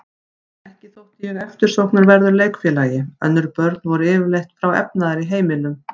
Ekki þótti ég eftirsóknarverður leikfélagi, önnur börn voru yfirleitt frá efnaðri heimilum.